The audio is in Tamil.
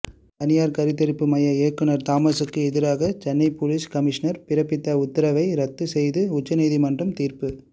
தனியார் கருத்தரிப்பு மைய இயக்குனர் தாமஸ்க்கு எதிராக சென்னை போலீஸ் கமிஷனர் பிறப்பித்த உத்தரவை ரத்து செய்து உயர்நீதிமன்றம் தீர்ப்பு